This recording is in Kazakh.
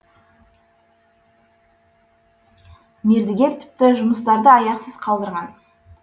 мердігер тіпті жұмыстарды аяқсыз қалдырған